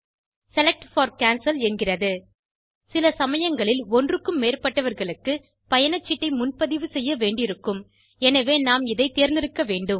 select for cancel என்கிறது சில சமயங்களில் ஒன்றுக்கும் மேற்பட்டவர்களுக்கு பயணச்சீட்டை முன்பதிவு செய்ய வேண்டியிருக்கும் எனவே நாம் இதை தேர்ந்தெடுக்கவேண்டும்